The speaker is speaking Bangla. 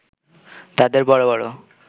তাদের বড় বড়